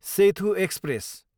Sethu express